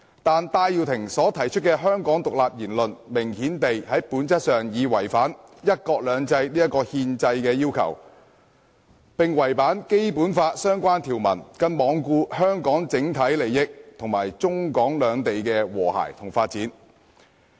戴耀廷提出的香港獨立言論，明顯地在本質上已違反"一國兩制"這個憲制要求，並違反《基本法》的相關條文，更罔顧香港的整體利益及中港兩地的和諧與發展。